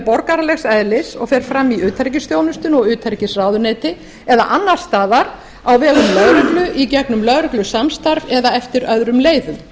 borgaralegs eðlis og fer fram í utanríkisþjónustunni og utanríkisráðuneyti eða annars staðar á vegum lögreglu í gegnum lögreglusamstarf eða eftir öðrum leiðum